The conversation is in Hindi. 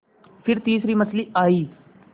फिर तीसरी मछली आई